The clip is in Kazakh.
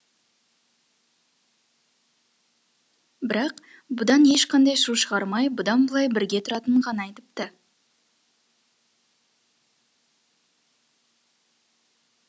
бірақ бұдан ешқандай шу шығармай бұдан былай бірге тұратынын ғана айтыпты